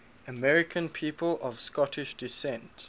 american people of scottish descent